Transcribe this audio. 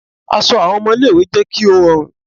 Aṣọ àwọn ọmọ ilé ìwé jẹ́ kí ó rọrùn